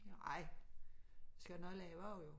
Ej vi skla have noget at lave jo